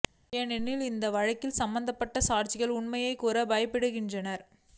ஏனெனில் இந்த வழக்கில் சம்பந்தப்பட்ட சாட்சிகள் உண்மையைக் கூற பயப்படுகின்றனர்